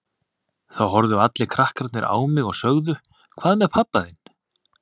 Þá horfðu allir krakkarnir á mig og sögðu Hvað með pabba þinn?